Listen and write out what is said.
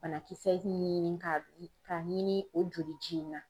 Banakisɛ ɲini ka ka ɲini o joli ji in na.